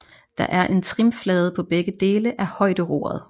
Der er en trimflade på begge dele af højderoret